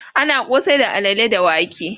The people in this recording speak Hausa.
ana kosai da alalle da wake